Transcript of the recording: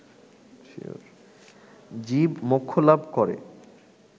জীব মোক্ষ লাভ করে